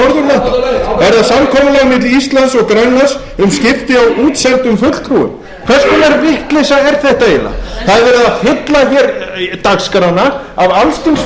skipti á útsendum fulltrúum hvers konar vitleysa er þetta eiginlega það er verið að fylla hér dagskrána af alls kyns málum sem engu skipta fyrir þau brýnu viðfangsefni sem fólkið í landinu